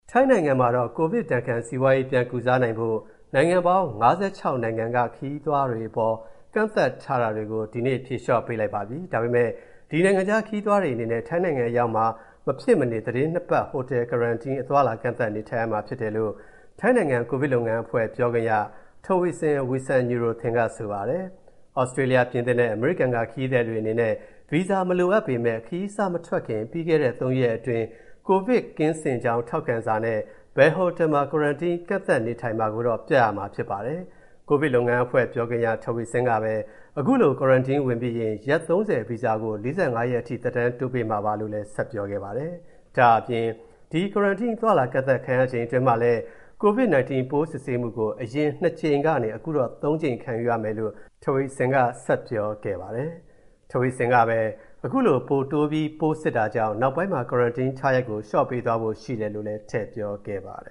ထိုင်းနိုင်ငံမှာတော့ ကိုဗစ်ဒဏ်ခံ စီးပွားရေး ပြန်ကုစားနိုင်ဖို့ နိုင်ငံပေါင်း ၅၆ နိုင်ငံက ခရီးသွားတွေအပေါ် ကန့်သတ်ထားတာတွေကို ဒီနေ့ ဖြေလျော့ပေးလိုက်ပါပြီ။ ဒါပေမဲ့ ဒီနိုင်ငံခြားခရီးသည်တွေအနေနဲ့ ထိုင်းနိုင်ငံအရောက်မှာ မဖြစ်မနေ သီတင်းနှစ်ပတ် ဟိုတယ် Quarantine ကန့်သတ်နေထိုင်ရမှာဖြစ်တယ်လို့ ထိုင်းနိုင်ငံ ကိုဗစ်လုပ်ငန်းအဖွဲ့ ပြောခွင့်ရ Taweesin Wisanuyothin က ဆိုပါတယ်။ သြစတြေးလျ၊ ပြင်သစ်နဲ့ အမေရိကန်က ခရီးသည်တွေအနေနဲ့ ဗီဇာမလိုအပ်ပေမဲ့ ခရီးစမထွက်ခင် ပြီးခဲ့တဲ့ ၃ ရက်အတွင်း ကိုဗစ်ကင်းစင်ကြောင်း ထောက်ခံစာနဲ့ ဘယ်ဟိုတယ်မှာ Quarantine ကန့်သတ်နေထိုင်မယ်ဆိုတာ ပြရမှာဖြစ်ပါတယ်။ ကိုဗစ်လုပ်ငန်းအဖွဲ့ ပြောခွင့်ရ Taweesin ကပဲ အခုလို Quarantine ဝင်ပြီးရင် ရက် ၃၀ ဗီဇာကို ၄၅ ရက်အထိ သက်တမ်းတိုးပေးမှာပါလို့ ဆက်ပြောခဲ့ပါတယ်။ ဒါ့အပြင် ဒီ Quarantine အသွားအလာ ကန့်သတ်ခံရချိန်တွင်းမှာလည်း COVID 19 ပိုးစစ်ဆေးမှုကို အရင် ၂ ကြိမ်ကနေ၊ အခုတော့ ၃ ကြိမ် ခံယူရမယ်လို့ Taweeson က ဆက်ပြောခဲ့ပါတယ်။ Taweeson ကပဲ ခုလို ပိုတိုးပြီးစစ်တာကြောင့် နောက်ပိုင်းမှာ Quarantine ထားရက်ကို လျှော့ချပေးသွားဖို့ ရှိတယ်လို့လည်း ထည့်ပြောခဲ့ပါတယ